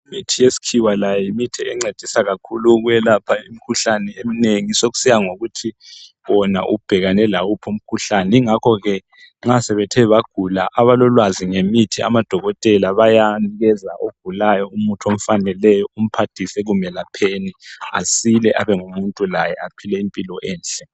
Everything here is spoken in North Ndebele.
Imithi yesikhiwa layo yimithi encedisa kakhulu ukwelapha imikhuhlane eminengi. Sokusiya ngokuthi wena ubhekane lawuphi umkhuhlane yingakho ke nxa sebethe bagula abalolwazi ngemithi amadokotela bayanikeza ogulayo umuthi omfaneleyo umphathise ekumelapheni asile abengumuntu laye aphile impilo enhle.